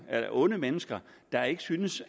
af onde mennesker der ikke synes